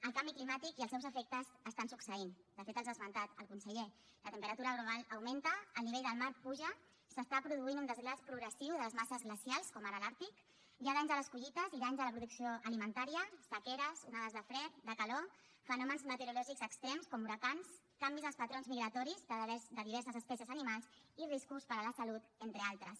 el canvi climàtic i els seus efectes estan succeint de fet els ha esmentat el conseller la temperatura global augmenta el nivell del mar puja s’està produint un desglaç progressiu de les masses glacials com ara l’àrtic hi ha danys a les collites i danys a la producció alimentària sequeres onades de fred de calor fenòmens meteorològics extrems com huracans canvis als patrons migratoris de diverses espècies animals i riscos per a la salut entre d’altres